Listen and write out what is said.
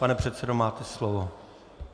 Pane předsedo, máte slovo.